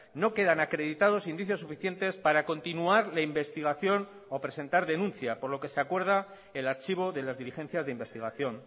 no quedan acreditados indicios suficientes para continuar la investigación o presentar denuncia por lo que se acuerda el archivo de las diligencias de investigación